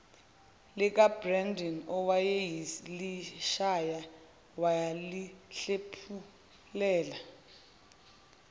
likabrendon owayeselishaye walihlephulela